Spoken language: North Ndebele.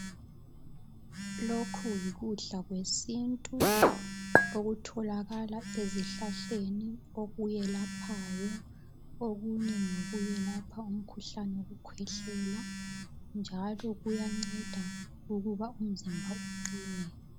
Lokhu yikudla kwesintu okutholakala ezihlahleni okwelaphayo. Okunye ngokwelapha umkhuhlane wokukhwehlela, njalo kuyanceda ukuba umzimba uqine.